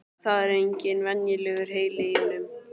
Það er engin venjulegur heili í honum.